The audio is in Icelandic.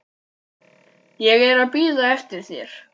Ég er að bíða eftir þér.